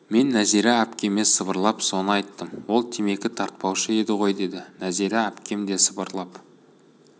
мен нәзира әпкеме сыбырлап соны айттым ол темекі тартпаушы еді ғой деді нәзира әпкем де сыбырлап